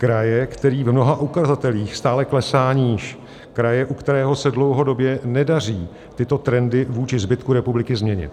kraje, který v mnoha ukazatelích stále klesá níž, kraje, u kterého se dlouhodobě nedaří tyto trendy vůči zbytku republiky změnit.